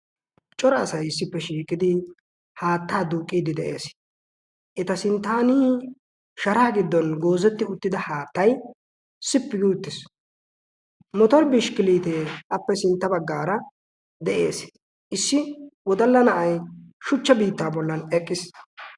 cora asai issippe shiiqidi haattaa duuqqiiddi de'ees. eta sinttaanii sharaa giddon goozetti uttida haattay sippi gi uttiis. motori bishkkiliitee appe sintta baggaara de'ees. issi wodalla na'ay shuchcha biittaa bollan eqqiis.